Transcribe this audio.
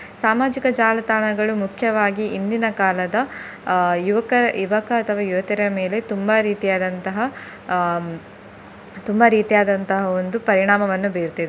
ಸಾಮಾಜಿಕ ಜಾಲತಾಣಗಳು ಮುಖ್ಯವಾಗಿ ಇಂದಿನ ಕಾಲದ ಅಹ್ ಯುವಕ ಯುವಕ ಅಥವಾ ಯುವತಿಯರ ಮೇಲೆ ತುಂಬಾ ರೀತಿಯಾದಂತಹ ಹ್ಮ್ ತುಂಬಾ ರೀತಿಯಾದಂತಹ ಒಂದು ಪರಿಣಾಮವನ್ನು ಬೀರ್ತಿದೆ.